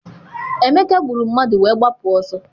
Emeka gburu mmadụ wee gbapụ ọsọ.